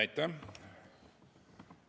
Aitäh!